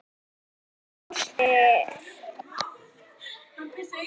Svo Einar fóstri varð að hírast í kompum.